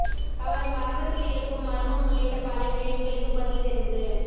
அவர் மரணத்தில் இருக்கும் மர்மம் உள்ளிட்ட பல கேள்விகளுக்கு பதில் தெரிந்து